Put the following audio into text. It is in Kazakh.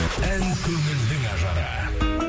ән көңілдің ажары